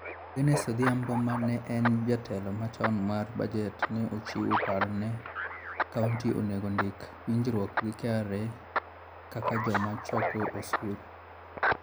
Agnes Odhiambo ma ne en Jatelo machon mar Budget ne ochiwo paro ni kaunti onego ondik winjruok gi KRA kaka joma choko osuru.